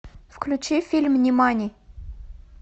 включи фильм нимани